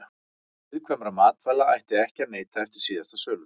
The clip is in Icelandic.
Viðkvæmra matvæla ætti ekki að neyta eftir síðasta söludag.